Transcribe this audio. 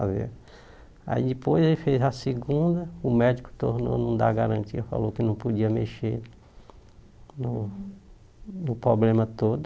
Aí depois ele fez a segunda, o médico tornou, não dar garantia, falou que não podia mexer no no problema todo.